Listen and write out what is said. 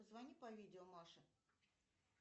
позвони по видео маше